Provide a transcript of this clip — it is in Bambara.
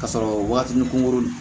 Ka sɔrɔ waatinin kunkurunin